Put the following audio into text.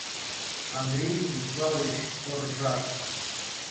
андрей станиславович оржак